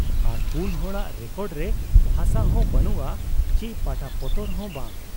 ᱟᱨ ᱯᱩᱱ ᱦᱚᱲᱟᱜ ᱨᱮᱠᱚᱰ ᱨᱮ ᱦᱟᱥᱟᱦᱚᱸ ᱵᱟᱹᱱᱩᱜ ᱟ ᱪᱤ ᱯᱟᱴᱟᱯᱚᱛᱚᱨ ᱦᱚᱸ ᱵᱟᱝ ᱾